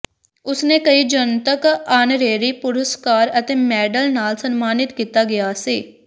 ਉਸ ਨੇ ਕਈ ਜਨਤਕ ਆਨਰੇਰੀ ਪੁਰਸਕਾਰ ਅਤੇ ਮੈਡਲ ਨਾਲ ਸਨਮਾਨਿਤ ਕੀਤਾ ਗਿਆ ਸੀ